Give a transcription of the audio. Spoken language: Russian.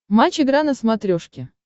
матч игра на смотрешке